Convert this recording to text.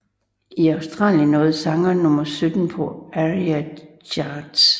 I Australien nåede sangen nummer 17 på ARIA Charts